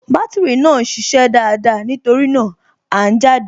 Bátìrì náà ń ṣiṣẹ́ dáadáa, nítorí náà, À ń jáde